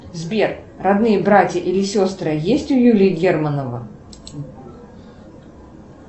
сбер родные братья или сестры есть у юрия германова